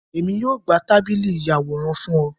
Èmi yóò gbà tábìlì ìyàwòrán fún ọ